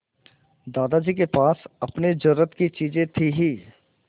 दादाजी के पास अपनी ज़रूरत की चीजें थी हीं